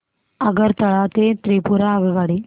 आगरतळा ते त्रिपुरा आगगाडी